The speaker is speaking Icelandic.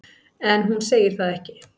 En hún segir það ekki.